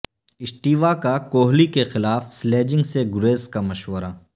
Steve Waugh کا کوہلی کے خلاف سلیجنگ سے گریز کا مشورہ